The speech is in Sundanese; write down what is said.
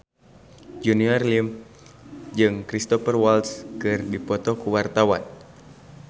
Junior Liem jeung Cristhoper Waltz keur dipoto ku wartawan